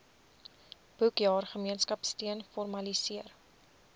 boekjaar gemeenskapsteun formaliseer